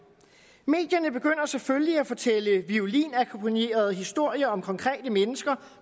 medierne begynder selvfølgelig at fortælle violinakkompagnerede historier om konkrete mennesker